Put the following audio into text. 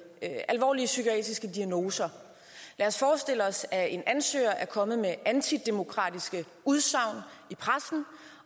alvorlige psykiatriske diagnoser lad os forestille os at en ansøger er kommet med antidemokratiske udsagn i pressen